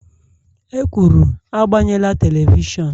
E kwuru, agbanyela telivishọn!l